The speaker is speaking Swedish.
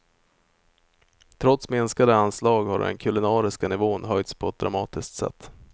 Trots minskade anslag har den kulinariska nivån höjts på ett dramatiskt sätt.